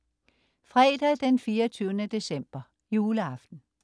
Fredag den 24. december - Juleaften